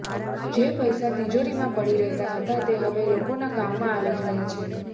જે પૈસા તિજારીમાં પડી રહેતા હતા તે હવે લોકોના કામમાં આવી રહ્યા છે